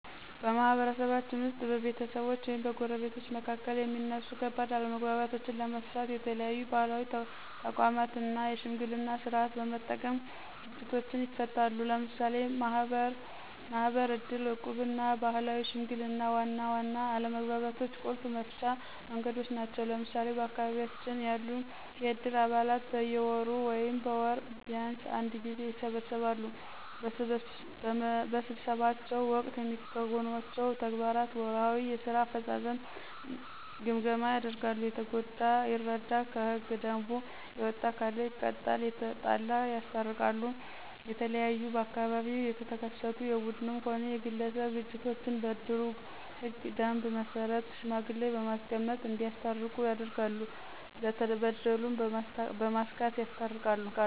በማህበረሰባችን ውስጥ በቤተሰቦች ወይም በጎረቤቶች መካከል የሚነሱ ከባድ አለመግባባቶችንለመፍታተት የተለያዩ ባህላዊ ተቋማትን እና የሽምግልና ስርዓትን በመጠቀም ግጭቶችን ይፈታሉ። ለምሳሌ ማህበር፣ ዕድር፣ ዕቁብና ባህላዊ ሽምግልና ዋና ዋና የአለመግባባቶች ቁልፍ መፍቻ መንገዶች ናቸው። ለምሳሌ በአካባቢያችን ያሉ የዕድር አባላት በየወሩ ወይም በወር ቢንስ አንድ ጊዜ ይሰበሰባሉ። በስብሰባቸው ወቅት የሚከውኗቸው ተግባራት ወርሃዊ የስራ አፈጻጸም ግምገማ ያደርጋሉ፣ የተጎዳ ይረዱ፣ ከህገ ደንቡ የወጣ ካለ ይቀጣሉ፣ የተጣላ ያስታርቃሉ። የተለያዩ በአካባቢው የተከሰቱ የቡድንም ሆነ የግለሰብ ግጭቶችን በእድሩ ህገ ደንብ መሰረት ሽማግሌ በማስመረጥ እዲያስታርቁ ያደርጋሉ፣ ለተበደሉ በማስካስ ያስታርቃሉ።